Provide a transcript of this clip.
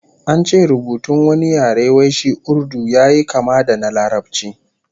An ce rubutun wani yare wai shi Urdu yayi kama da na Larabci